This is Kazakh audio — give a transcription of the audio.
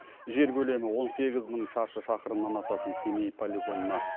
жер көлемі он сегіз мың шаршы шақырымнан асатын семей полигонына